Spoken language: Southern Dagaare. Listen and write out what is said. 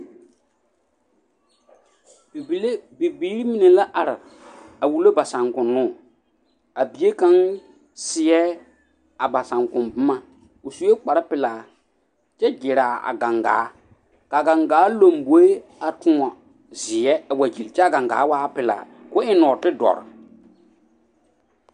Bibiiri mine la are a wulo ba saakonnoo a bie kaŋ seɛ a ba saŋkoŋ boma o sue kparpelaa kyɛ ɡyere a ɡaŋɡaa ka a ɡaŋɡaa lomboe a toɔne zeɛ a wa ɡyili kyɛ a ɡaŋɡaa waa pelaa ka o eŋ nɔɔtedɔre.